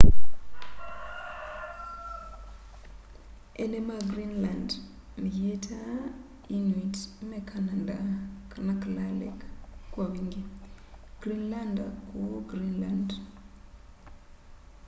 eene ma greenland meyîtaa inuit me kananda na kalaalleq kwa wingî greenlander kûu greenland